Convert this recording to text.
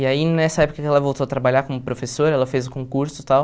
E aí, nessa época que ela voltou a trabalhar como professora, ela fez o concurso e tal...